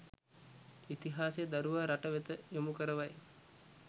ඉතිහාසය දරුවා රටවෙත යොමු කරවයි